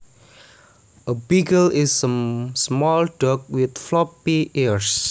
A beagle is a small dog with floppy ears